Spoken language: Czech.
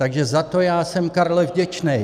Takže za to já jsem Karle vděčný.